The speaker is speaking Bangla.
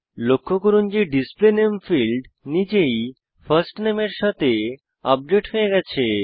লক্ষ্য করুন যে ডিসপ্লে নামে ফীল্ড নিজেই ফার্স্ট নামে এর সাথে আপডেট হয়ে গেছে